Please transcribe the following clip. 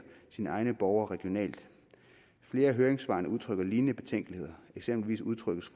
sine egne borgere regionalt flere af høringssvarene udtrykker lignende betænkeligheder eksempelvis udtrykkes